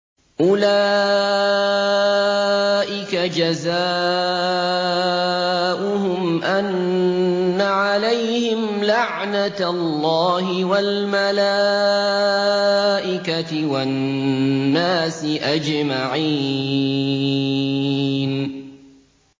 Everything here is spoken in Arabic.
أُولَٰئِكَ جَزَاؤُهُمْ أَنَّ عَلَيْهِمْ لَعْنَةَ اللَّهِ وَالْمَلَائِكَةِ وَالنَّاسِ أَجْمَعِينَ